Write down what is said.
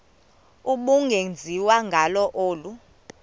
ubungenziwa ngalo olu